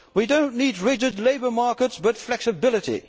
We do not need rigid labour markets, but flexibility.